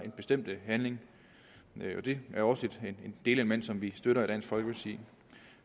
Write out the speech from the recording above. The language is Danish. en bestemt handling det er også et delelement som vi støtter i dansk folkeparti